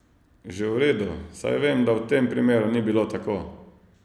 Že v redu, saj vem, da v tem primeru ni bilo tako.